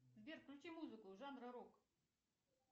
сбер включи музыку жанра рок